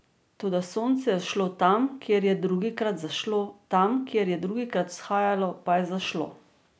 Toda sonce je vzšlo tam, kjer je drugikrat zašlo, tam, kjer je drugikrat vzhajalo, pa je zašlo.